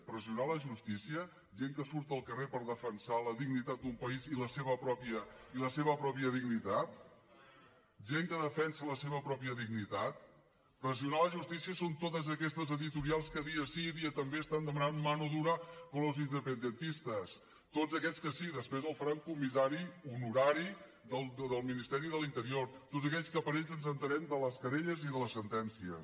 pressionar la justícia gent que surt al carrer per defensar la dignitat d’un país i la seva pròpia dignitat gent que defensa la seva pròpia dignitat pressionar la justícia són tots aquests editorials que dia sí i dia també estan demanant mano dura con los independentistas tots aquests que sí després els faran comissari honorari del ministeri de l’interior tots aquells que per ells ens assabentem de les querelles i de les sentències